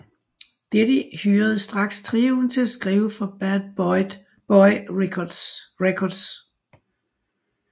Diddy hyrede straks trioen til at skrive for Bad Boy Records